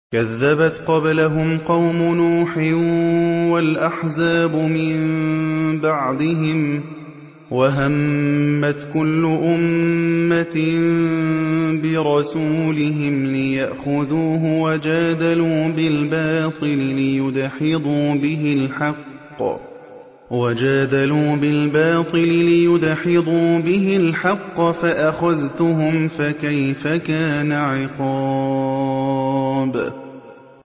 كَذَّبَتْ قَبْلَهُمْ قَوْمُ نُوحٍ وَالْأَحْزَابُ مِن بَعْدِهِمْ ۖ وَهَمَّتْ كُلُّ أُمَّةٍ بِرَسُولِهِمْ لِيَأْخُذُوهُ ۖ وَجَادَلُوا بِالْبَاطِلِ لِيُدْحِضُوا بِهِ الْحَقَّ فَأَخَذْتُهُمْ ۖ فَكَيْفَ كَانَ عِقَابِ